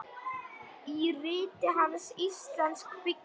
Í riti hans, Íslensk bygging